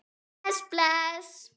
Bless, bless.